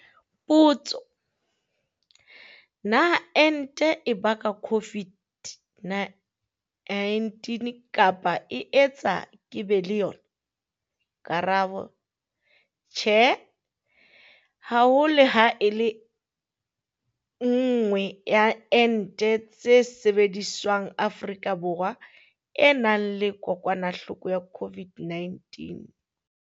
Potso- Na ente e baka COVID-19 kapa e etsa ke be le yona? Karabo- Tjhe. Ha ho le ha e le nngwe ya ente tse sebediswang Afrika Borwa e nang le kokwanahloko ya COVID-19.